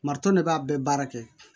Mariton de b'a bɛɛ baara kɛ